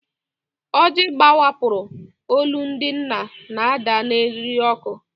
Ojii gbawapụrụ, olu ndị nna na-ada n'eriri òkè.